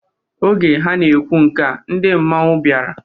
Oge ha na-ekwu nkea, ndị mmanwụ bịara.